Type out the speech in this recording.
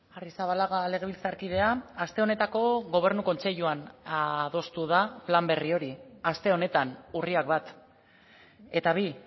arrizabalaga legebiltzarkidea aste honetako gobernu kontseiluan adostu da plan berri hori aste honetan urriak bat eta bi